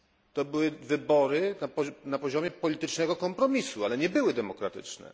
To były wybory na poziomie politycznego kompromisu, ale nie były one demokratyczne.